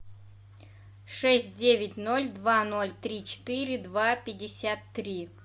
шесть девять ноль два ноль три четыре два пятьдесят три